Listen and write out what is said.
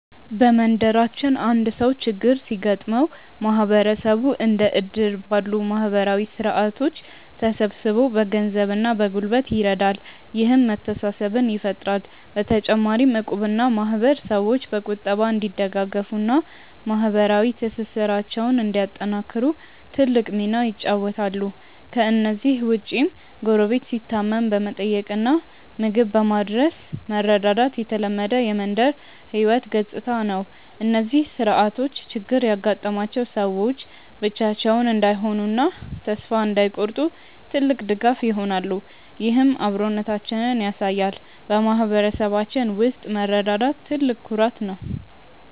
በመንደራችን አንድ ሰው ችግር ሲገጥመው ማህበረሰቡ እንደ እድር ባሉ ማህበራዊ ስርዓቶች ተሰባስቦ በገንዘብና በጉልበት ይረዳል፤ ይህም መተሳሰብን ይፈጥራል። በተጨማሪም እቁብና ማህበር ሰዎች በቁጠባ እንዲደጋገፉና ማህበራዊ ትስስራቸውን እንዲያጠናክሩ ትልቅ ሚና ይጫወታሉ። ከእነዚህ ውጭም ጎረቤት ሲታመም በመጠየቅና ምግብ በማድረስ መረዳዳት የተለመደ የመንደር ህይወት ገጽታ ነው። እነዚህ ስርዓቶች ችግር ያጋጠማቸው ሰዎች ብቻቸውን እንዳይሆኑና ተስፋ እንዳይቆርጡ ትልቅ ድጋፍ ይሆናሉ፤ ይህም አብሮነታችንን ያሳያል። በማህበረሰባችን ውስጥ መረዳዳት ትልቅ ኩራት ነው።